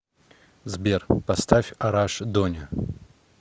сбер поставь араш доня